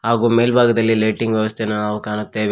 ಹಾಗು ಮೇಲ್ಭಾಗದಲ್ಲಿ ಲೈಟಿಂಗ್ ವ್ಯವಸ್ಥೆಯನ್ನು ನಾವು ಕಾಣುತ್ತೇವೆ.